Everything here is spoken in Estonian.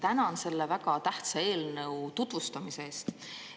Tänan selle väga tähtsa eelnõu tutvustamise eest.